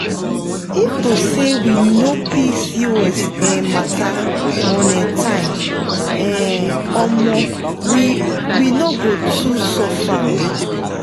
if to say we know pcos um matter on um time um omo we we no go too suffer oo.